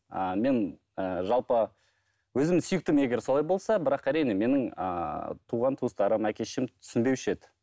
ыыы мен ііі жалпы өзімнің сүйіктім егер солай болса бірақ әрине менің ыыы туған туыстарым әке шешем түсінбеуші еді